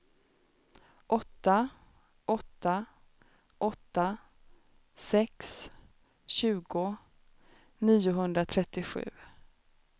åtta åtta åtta sex tjugo niohundratrettiosju